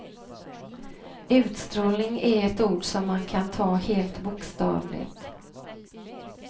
Utstrålning är ett ord som man kan ta helt bokstavligt.